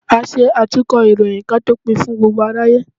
À ṣe atúnkọ ìròyìn, ki a tó pín fún gbógbo aráyé.